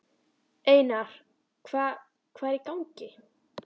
Einar, hvað hvað er í gangi?